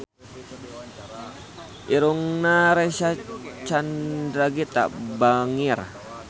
Irungna Reysa Chandragitta bangir